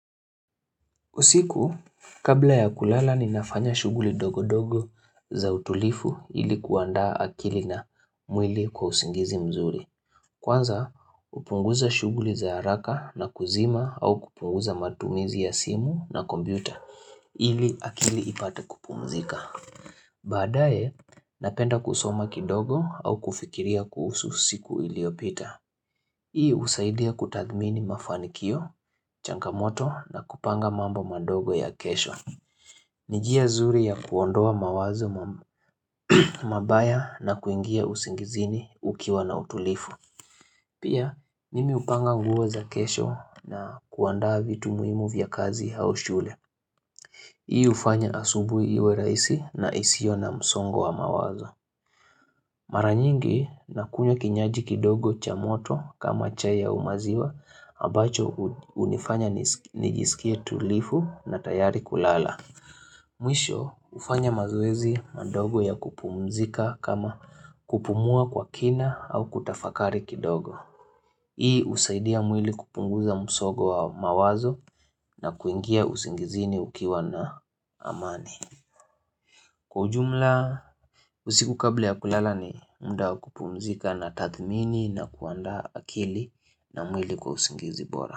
Usiku, kabla ya kulala ni nafanya shuguli ndogo ndogo za utulivu ili kuandaa akili na mwili kwa usingizi mzuri. Kwanza, hupunguza shuguli za haraka na kuzima au kupunguza matumizi ya simu na kompyuta ili akili ipate kupumzika. Baadae, napenda kusoma kidogo au kufikiria kuhusu siku iliopita. Hii husaidia kutathmini mafanikio, changamoto na kupanga mambo mandogo ya kesho. Ni njia nzuri ya kuondoa mawazo mabaya na kuingia usingizini ukiwa na utulivu. Pia mimi hupanga nguo za kesho na kuandaa vitu muhimu vya kazi au shule. Hii hufanya asubuhi iwe rahisi na isio na msongo wa mawazo. Maranyingi na kunywa kinywaji kidogo cha moto kama chai ua maziwa ambacho hunifanya nijisikie tulivu na tayari kulala. Mwisho hufanya mazoezi madogo ya kupumzika kama kupumua kwa kina au kutafakari kidogo. Hii husaidia mwili kupunguza msongo wa mawazo na kuingia usingizini ukiwa na amani. Kwa ujumla usiku kabla ya kulala ni mda wa kupumzika na tathmini na kuandaa akili na mwili kwa usingizi bora.